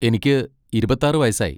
എനിക്ക് ഇരുപത്താറ് വയസ്സായി.